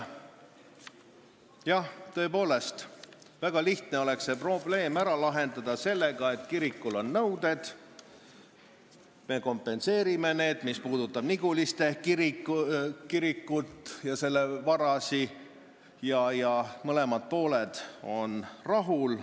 Jah, tõepoolest oleks väga lihtne see probleem ära lahendada nii, et kirikul on nõuded ja me kompenseerime need, mis puudutab Niguliste kirikut ja selle vara, ning mõlemad pooled oleksid rahul.